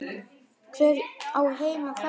Hver á heima þarna?